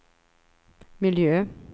miljö